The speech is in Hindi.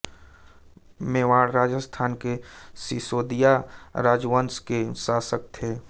मेवाड राजस्थान के सिशोदिया राजवंश के शासक थे